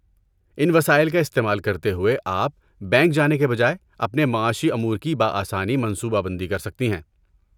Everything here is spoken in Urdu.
ان وسائل کا استعمال کرتے ہوئے، آپ، بینک جانے کے بجائے، اپنے معاشی امور کی بآسانی منصوبہ بندی کر سکتی ہیں۔